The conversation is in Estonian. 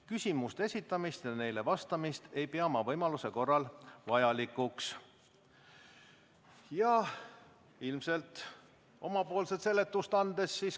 Küsimuste esitamist ja neile vastamist ei pea ma võimaluse korral vajalikuks.